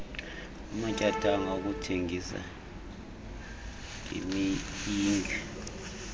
amatyathanga okuthengisa ngemiyinge